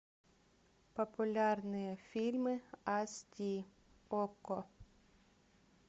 популярные фильмы ас ди окко